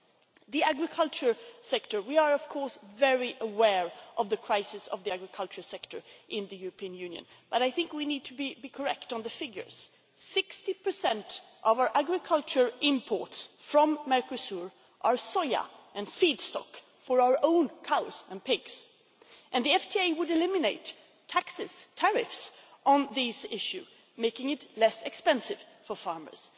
As regards the agriculture sector, we are of course very aware of the crisis in the agriculture sector in the European Union, but I think we need to be correct on the figures 60 of our agricultural imports from Mercosur are soya and feedstock for our own cows and pigs, and the FTA would eliminate taxes, tariffs, on this issue, making it less expensive for farmers.